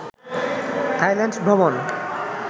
Thailand ভ্রমন